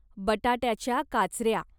बटाट्याच्या काचर्या